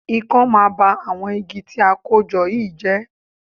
Ikán máa ba àwọn igi tí a kó jọ yìí jẹ́